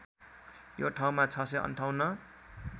यो ठाउँमा ६५८